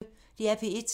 DR P1